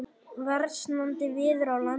Versnandi veður á landinu